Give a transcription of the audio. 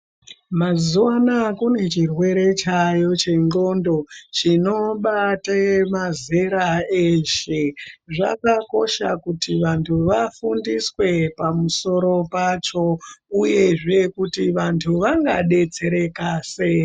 Mazuwa anaya kune chirwere chayo chengondo chinobate chemazera eshe zvakakosha kuti antu afundiswe pamusoro pacho uyezve kuti vantu vangadetsereka sei .